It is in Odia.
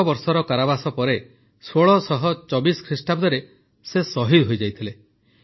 ଦଶବର୍ଷର କାରାବାସ ପରେ ୧୬୨୪ ଖ୍ରୀଷ୍ଟାବ୍ଦରେ ସେ ସହିଦ ହୋଇଯାଇଥିଲେ